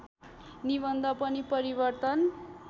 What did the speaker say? निबन्ध पनि परिवर्तन